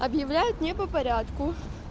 объявляет не по порядку